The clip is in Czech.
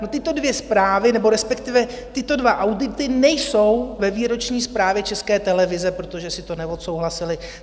No, tyto dvě zprávy, nebo respektive tyto dva audity nejsou ve výroční zprávě České televize, protože si to neodsouhlasili.